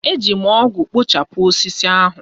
Eji m ọgụ kpochapụ osisi ahụ.